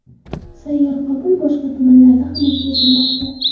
Sayyor qabul boshqa tumanlarda ham o‘tkazilmoqda.